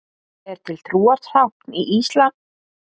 Er til trúartákn í íslam hliðstætt krossinum í kristinni trú?